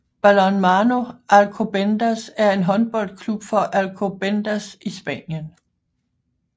Balonmano Alcobendas er en håndboldklub fra Alcobendas i Spanien